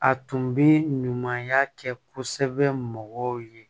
A tun bɛ ɲumanya kɛ kosɛbɛ mɔgɔw ye